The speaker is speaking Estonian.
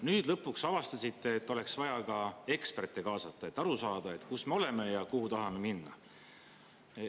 Nüüd lõpuks avastasite, et oleks vaja ka eksperte kaasata, et aru saada, kus me oleme ja kuhu tahame minna.